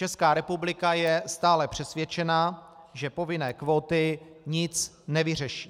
Česká republika je stále přesvědčena, že povinné kvóty nic nevyřeší.